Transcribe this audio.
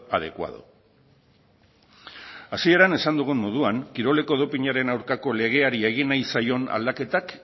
adecuado hasieran esan dugun moduan kiroleko dopinaren aurkako legeari egin nahi zaion aldaketak